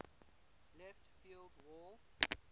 left field wall